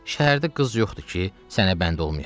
Şəhərdə qız yoxdur ki, sənə bənd olmaya.